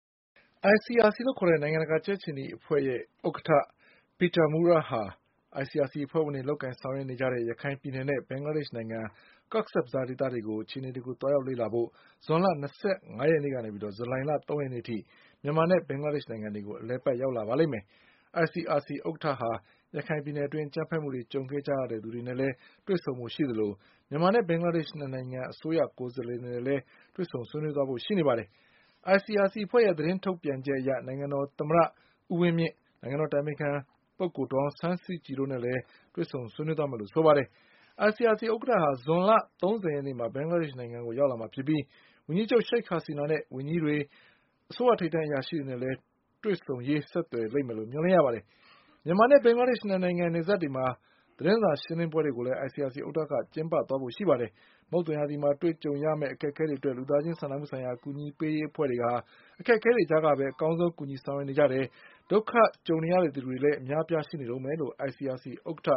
ICRC လို့ခေါ်တဲ့ နိုင်ငံတကာကြက်ခြေနီအဖွဲ့ရဲ့ ဥက္ကဌ Peter Maurer ဟာ ICRC အဖွဲ့ဝင်တွေလုပ်ကိုင်ဆောင်ရွက်နေတဲ့ ရခိုင်ပြည်နယ်နဲ့ ဘင်္ဂလားဒေ့ရှ် နိုင်ငံ Cox’s Bazarဒေသတွေက အခြေအနေတွေကို သွားရောက်လေ့လာဖို့ ဇွန်လ၂၅ရက် ကနေ ဇူလိုင်၃ရက်နေ့အထိ မြန်မာနဲ့ ဘင်္ဂလားဒေ့ရှ် နိုင်ငံတွေကို အလည်အပတ်ရောက်လာပါလိမ့်မယ်။ ICRC ဥက္ကဌဟာ ရခိုင်ပြည်နယ်အတွင်းအကြမ်းဖက်မှုတွေကြုံခဲ့ရသူတွေနဲ့လည်းတွေ့ဆုံဖို့ရှိသလို မြန်မာနဲ့ ဘင်္ဂလားဒေ့ရှ်၂နိုင်ငံအစိုးရကိုယ် စားလှယ်တွေနဲ့လည်းတွေ့ဆုံဆွေးနွေးသွားဖို့ရှိပါတယ်။ ICRCအဖွဲ့ရဲ့ သတင်းထုတ်ပြန်ချက်အရ နိုင်ငံတော်သမ္မတ ဦးဝင်းမြင့်၊ နိုင်ငံတော်အတိုင်ပင်ခံ ပုဂ္ဂိုလ်ဒေါ်အောင်ဆန်းစုကြည်တို့နဲ့လည်းတွေ့ဆုံဆွေးနွေးသွားမယ်လို့ဆိုပါတယ်။ ICRC ဥက္ကဋ္ဌ ဟာ ဇွန်လ၃၀ရက်နေ့မှာ ဘင်္ဂလားဒေ့ရှ်နိုင်ငံကိုရောက်မှာဖြစ်ပြီး ဝန်ကြီးချုပ် ရှိခ် ဟာစီနာနဲ့ ဝန်ကြီးတွေ၊ အစိုးရထိပ်တန်းအရာရှိတွေနဲ့လည်းတွေ့ဆုံရေး ဆက်သွယ်လိမ့်မယ်လို့မျှော်လင့်ရပါတယ်။ မြန်မာနဲ့ဘင်္ဂလားဒေ့ရှ် ၂နိုင်ငံ နယ်စပ်တွေမှာ သတင်းစာရှင်းလင်းပွဲတွေကိုလည်း ICRC ဥက္ကဌက ကျင်းပသွားဖို့ရှိပါတယ်။ မုတ်သုံရာသီမှာကြုံတွေ့ရ မယ့်အခက်အခဲတွေအတွက် လူသားချင်းစာနာမှုဆိုင်ရာအကူအညီပေးရေးအဖွဲ့တွေက အခက်အခဲတွေကြားကပဲ အကောင်းဆုံးကူညီဆောင်ရွက်နေကြတယ်။ ဒုက္ခကြုံနေသူတွေလည်းအများအပြားရှိနေတုန်းပဲလို့ ICRC ဥက္ကဋ္ဌ